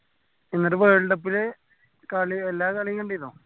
എന്നിട്ട് world cup ല് കളി എല്ലാ കാളിയു കണ്ടിനോ